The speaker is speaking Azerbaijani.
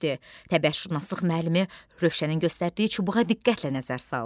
Təbiətşünaslıq müəllimi Rövşənin göstərdiyi çubuğa diqqətlə nəzər saldı.